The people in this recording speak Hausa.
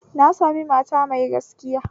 Na sami mata mai gaskiya